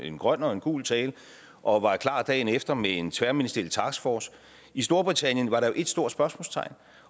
en grøn og en gul tale og var klar dagen efter med en tværministeriel taskforce i storbritannien var der jo et stort spørgsmålstegn